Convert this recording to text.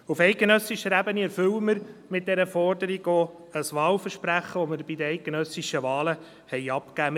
Auf eidgenössischer Ebene erfüllen wir mit dieser Forderung denn auch ein Wahlversprechen, welches wir bei den eidgenössischen Wahlen abgegeben haben.